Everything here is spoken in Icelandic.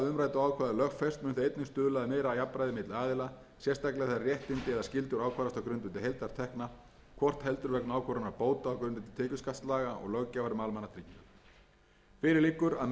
stuðla að meira jafnræði milli aðila sérstaklega þegar réttindi eða skyldur ákvarðast á grundvelli heildartekna hvort heldur vegna ákvörðunar bóta á grundvelli tekjuskattslaga eða löggjafar um almannatryggingar fyrir liggur að meira en þrjátíu og fimm